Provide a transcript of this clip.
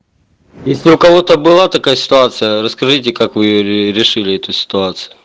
если у кого-то была такая ситуация расскажите как вы решили эту ситуацию